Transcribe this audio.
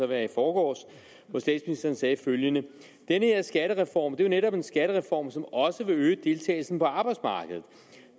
være i forgårs hvor statsministeren sagde følgende denne skattereform er netop en skattereform som også vil øge deltagelsen på arbejdsmarkedet